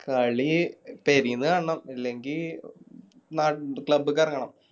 കളി പേരിന്ന് കാണണം ഇല്ലെങ്കി നാ Club ക്ക് എറങ്ങണം